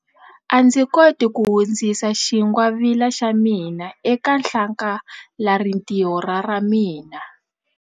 A ndzi koti ku hundzisa xingwavila xa mina eka hlakalarintiho ra ra mina.